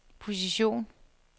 position